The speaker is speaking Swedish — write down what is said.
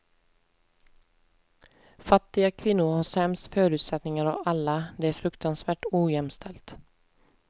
Fattiga kvinnor har sämst förutsättningar av alla, det är fruktansvärt ojämställt.